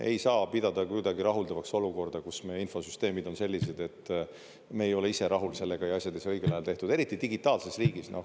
Ei saa pidada kuidagi rahuldavaks olukorda, kus meie infosüsteemid on sellised, et me ei ole ise rahul sellega ja asjad ei saa õigel ajal tehtud, eriti digitaalses riigis.